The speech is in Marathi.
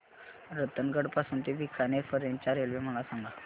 रतनगड पासून ते बीकानेर पर्यंत च्या रेल्वे मला सांगा